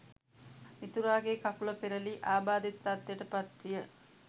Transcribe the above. මිතුරාගේ කකුල පෙරළී ආබාධිත තත්ත්වයට පත් විය.